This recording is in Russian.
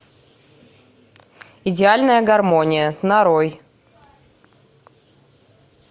идеальная гармония нарой